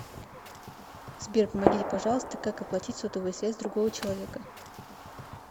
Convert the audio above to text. сбер помогите пожалуйста как оплатить сотовую связь другого человека